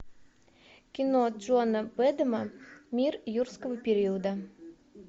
кино джона бэдэма мир юрского периода